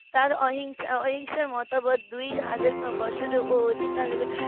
তার অহিংসা অহিংসার মতামত দুই হাজার বছর অধিক